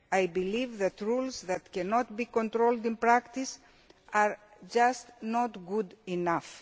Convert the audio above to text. I believe that rules that cannot be controlled in practice are just not good enough.